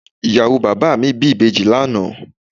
Ìyàwó bàbá mi bí ìbejì lánàá